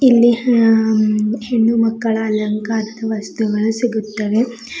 ಇಲ್ಲಿ ಹಾ ಹೆಣ್ಣು ಮಕ್ಕಳ ಅಲಂಕಾರದ ವಸ್ತುಗಳು ಸಿಗುತ್ತವೆ.